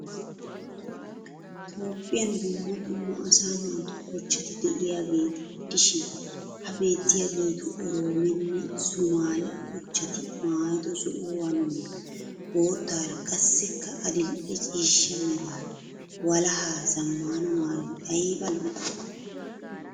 Toophphiyan dumma dumma asaa naatu kochchati de'iyaageeta gidishshin ha beettiyaagetu oromonne somaale kochchatti maayido zo'uwaaranne, boottaara qassikka adildhdhe ciishsha merara walaha zamaana mayoy ayba lo'ii.